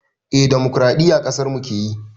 Eh dimukuraɗiyya ƙasarmu keyi